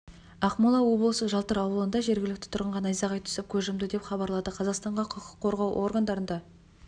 ақмола облысы жалтыр ауылында жергілікті тұрғынға найзағай түсіп көз жұмды деп хабарлады қазақстанға құқық қорғау органдарында